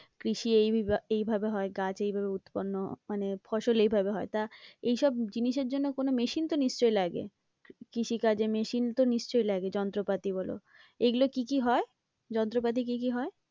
কৃষি এইভাবে হয়, গাছ এইভাবে উৎপন্ন মানে ফসল এইভাবে হয় তা এইসব জিনিসের জন্য কোনো machine তো নিশ্চয়ই লাগে, কৃষিকাজে machine তো নিশ্চয়ই লাগে যন্ত্রপাতি বলো, এগুলো কি কি হয়? যন্ত্রপাতি কি কি হয়?